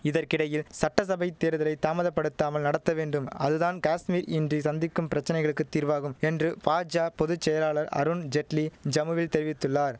இதற்கிடையில் சட்ட சபை தேர்தலை தாமதப்படுத்தாமல் நடத்த வேண்டும் அது தான் காஷ்மீர் இன்றி சந்திக்கும் பிரச்சனைகளுக்குத் தீர்வாகும் என்று பாஜா பொது செயலாளர் அருண் ஜெட்லி ஜம்முவில் தெரிவித்துள்ளார்